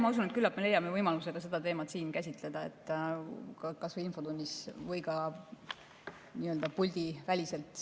Ma usun, et küllap me leiame võimaluse ka seda teemat siin käsitleda, kas või infotunnis või ka nii-öelda puldiväliselt.